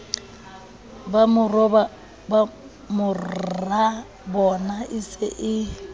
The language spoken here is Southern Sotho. ba morabona e se e